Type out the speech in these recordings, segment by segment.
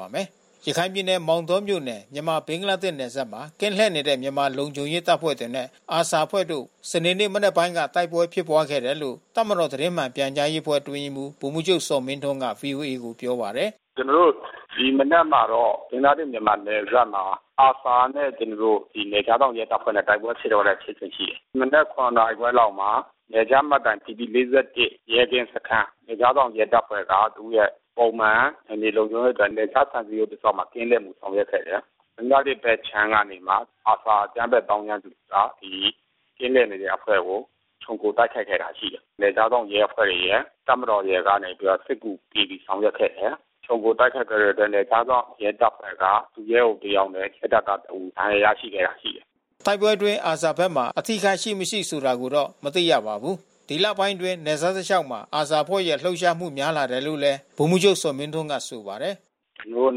ပါတယ်။ ရခိုင်ပြည်နယ် မောင်တောမြို့နယ် မြန်မာ-ဘင်္ဂလားဒေ့ရှ် နယ်စပ်မှာ ကင်းလှည့်နေတဲ့ မြန်မာလုံခြုံရေးတပ်ဖွဲ့တွေနဲ့ ARSA အဖွဲ့တို့ စနေနေ့ မနက်ပိုင်းက တိုက်ပွဲဖြစ်ပွားခဲ့တယ်လို့ တပ်မတော် သတင်းမှန်ပြန်ကြားရေးအဖွဲ့ အတွင်းရေးမှူး ဗိုလ်မှူးချုပ်ဇော်မင်းထွန်းက ဗွီအိုအေကို ပြောပါတယ်။ “ကျနော်တို့ ဒီမနက်မှာတော့ ဘင်္ဂလားဒေ့ရှ်-မြန်မာ နယ်စပ်မှာ ARSA နဲ့ ကျနော်တို့ နယ်ခြားစောင့်ရဲတပ်ဖွဲ့နဲ့ တိုက်ပွဲဖြစ်ပွားခဲ့တဲ့ဖြစ်စဉ် ရှိတယ်။ မနက် ၇ နာရီခွဲလောက်မှာ နယ်ခြားမှတ်တိုင် ဘီပီ-၄၁ ရဲကင်းစခန်း နယ်ခြားစောင့် ရဲတပ်ဖွဲ့က သူ့ရဲ့ ပုံမှန် နယ်မြေလုံခြုံရေးအတွက် နယ်ခြားခြံစည်းရိုးတလျှောက်မှာ ကင်းလှည့်ပြီး ဆောင်ရွက်ခဲ့တယ်။ ဘင်္ဂလားဒေ့ရှ်ဘက်ခြမ်းကနေပြီးမှ ARSA အကြမ်းဖက်သောင်းကျန်းသူက ဒီကင်းလှည့်နေတဲ့အဖွဲ့ကို ခြုံခိုတိုက်ခိုက်ခဲ့တာ ရှိတယ်။ နယ်ခြားစောင့်ရဲအဖွဲ့ရယ် တပ်မတော်ကနေပြီးတော့မှ စစ်ကူပေးပြီး ဆောင်ရွက်ခဲ့တယ်။ ခြုံခိုတိုက်ခိုက်ခဲ့တဲ့အတွက် နယ်ခြားစောင့်ရဲတပ်ဖွဲ့က ဒုရဲအုပ်တယောက်နဲ့ စစ်တပ်ကတဦး ဒဏ်ရာရခဲ့တာ ရှိတယ်။” တိုက်ပွဲအတွင်း ARSA ဘက်မှာ အထိအခိုက်ရှိမရှိ ဆိုတာကိုတော့ မသိရပါဘူး။ ဒီလပိုင်းတွေအတွင်း နယ်စပ်တလျှောက်မှာ ARSA အဖွဲ့ရဲ့လှုပ်ရှားမှု များလာတယ်လို့လည်း ဗိုလ်မှူးချုပ်ဇော်မင်းထွန်းက ဆိုပါတယ်။ “ကျနော်တို့အ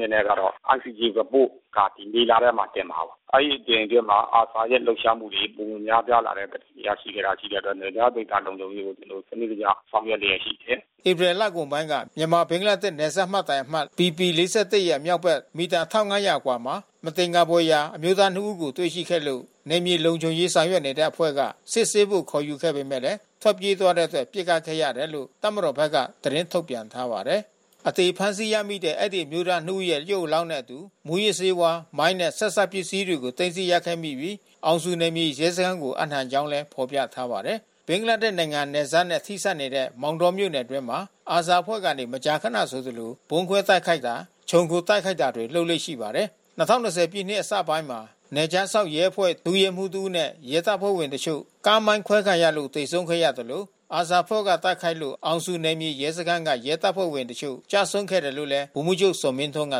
နေနဲ့ကတော့ ICJ Report က ဒီမေလထဲမှာ တင်မှာပါ။ အဲဒီအချိန်အတွင်းမှာ ARSA ရဲ့ လှုပ်ရှားမှုတွေ ပိုမိုများပြားလာတဲ့သတင်း ရရှိထားတာ ရှိတဲ့အတွက် နယ်ခြားဒေသ လုံခြုံရေးကို ကျနော်တို့ စနစ်တကျ ဆောင်ရွက်လျက်ရှိတယ်။” ဧပြီလကုန်ပိုင်းက မြန်မာ-ဘင်္ဂလားဒေ့ရှ် နယ်စပ်မှတ်တိုင်အမှတ် ဘီပီ-၄၁ ရဲ့ မြောက်ဘက် မီတာ ၁၅၀၀ ခန့်အကွာမှာ မသင်္ကာဖွယ်ရာ အမျိုးသားနှစ်ဦးကို တွေ့ရှိခဲ့လို့ နယ်မြေလုံခြုံရေး ဆောင်ရွက်နေတဲ့အဖွဲ့က စစ်ဆေးဖို့ ခေါ်ယူခဲ့ပေမယ့် ထွက်ပြေးသွားတဲ့အတွက် ပစ်ခတ်ခဲ့ရတယ်လို့ တပ်မတော်ဘက်က သတင်းထုတ်ပြန်ထားပါတယ်။ အသေဖမ်းဆီးရမိတဲ့ အဲဒီအမျိုးသားနှစ်ဦးရဲ့ ရုပ်အလောင်းနဲ့အတူ မူးယစ်ဆေးဝါး၊ မိုင်းနဲ့ ဆက်စပ်ပစ္စည်းတွေကို သိမ်းဆည်းရခဲ့ပြီး အောင်ဇူနယ်မြေရဲစခန်းကို အပ်နှံကြောင်း ဖော်ပြထားပါတယ်။ ဘင်္ဂလားဒေ့ရ်နိုင်ငံ နယ်စပ်နဲ့ ထိစပ်နေတဲ့ မောင်တောမြို့နယ်အတွင်းမှာ ARSA အဖွဲ့က မကြာခနဆိုသလို ဗုံးခွဲတိုက်ခိုက်တာ ခြုံခိုတိုက်ခိုက်တာတွေ လုပ်လေ့ရှိပါတယ်။ ၂၀၂၀ ပြည့်နှစ် အစပိုင်းမှာ နယ်ခြားစောင့်ရဲအဖွဲ့ ဒုရဲမှူးတဦးနဲ့ ရဲတပ်ဖွဲ့ဝင်တချို့ ကားမိုင်းခွဲခံရလို့ သေဆုံးခဲ့သလို ARSA အဖွဲ့က တိုက်ခိုက်လို့ အောင်ဇူနယ်မြေရဲစခန်းက ရဲတပ်ဖွဲ့ဝင်တချို့ ကျဆုံးခဲ့တယ်လို့လည်း ဗိုလ်မှူးချုပ်ဇော်မင်းထွန်းက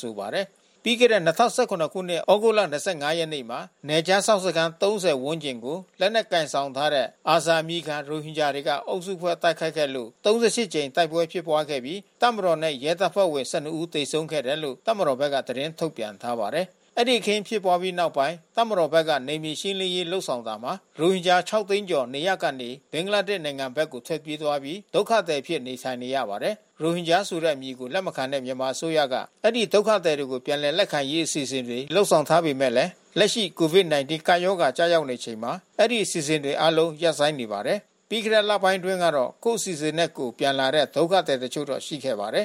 ဆိုပါတယ်။ ပြီးခဲ့တဲ့ ၂၀၁၇ သြဂုတ်လ ၂၅ ရက်နေ့မှာ နယ်ခြားစောင့်စခန်း ၃၀ ဝန်းကျင်ကို လက်နက်ကိုင်ဆောင်ထားတဲ့ ARSA အမည်ခံ ရိုဟင်ဂျာတွေက အုပ်စုဖွဲ့ တိုက်ခိုက်ခဲ့လို့ ၃၈ ကြိမ် တိုက်ပွဲဖြစ်ပွားခဲ့ပြီး တပ်မတော်နဲ့ ရဲတပ်ဖွဲ့ဝင် ၁၂ ဦး သေဆုံးခဲ့တယ်လို့ တပ်မတော်ဘက်က သတင်းထုတ်ပြန်ထားပါတယ်။ အဲဒီ အခင်းဖြစ်ပွားပြီးနောက်ပိုင်း တပ်မတော်ဘက်က နယ်မြေရှင်းလင်းရေး လုပ်ဆောင်တာမှာ ရိုဟင်ဂျာ ၇ သိန်းကျော် နေရပ်ကနေ ဘင်္ဂလားဒေ့ရှ် နိုင်ငံဘက်ကို ထွက်ပြေးပြီး ဒုက္ခသည်အဖြစ် နေထိုင်နေရပါတယ်။ ရိုဟင်ဂျာဆိုတဲ့အမည်ကို လက်မခံတဲ့ မြန်မာအစိုးရက အဲဒီဒုက္ခသည်တွေကို ပြန်လည်လက်ခံရေး အစီအစဉ်တွေ လုပ်ဆောင်ထားပေမယ့်လည်း လက်ရှိ COVID-19 ကပ်ရောဂါ ကျရောက်နေချိန်မှာ အဲဒီအစီအစဉ်တွေအားလုံး ရပ်ဆိုင်းနေပါတယ်။ ပြီးခဲ့တဲ့ လပိုင်းတွေတုန်းကတော့ ကိုယ့်အစီအစဉ်နဲ့ကိုယ် ပြန်လာတဲ့ ဒုက္ခသည်တချို့တော့ ရှိခဲ့ပါတယ်